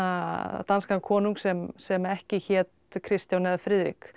danskan konung sem sem ekki hét Kristján eða Friðrik